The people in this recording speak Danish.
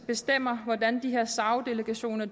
bestemmer hvordan de her sao delegationer